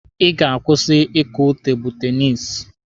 Ị ga-akwụsị ịkụ tebụlụ tenisi!